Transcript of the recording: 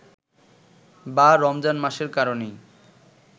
বা রমজান মাসের কারণেই